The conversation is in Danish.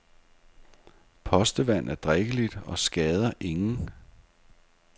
Postevand er drikkeligt og skader ingen.